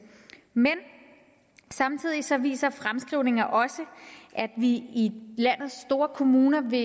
men samtidig viser viser fremskrivninger også at vi i landets store kommuner vil